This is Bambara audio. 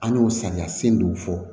An y'o samiya sen dɔw fɔ